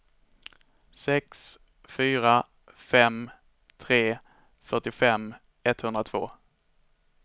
sex fyra fem tre fyrtiofem etthundratvå